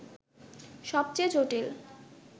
সবচেয়ে জটিল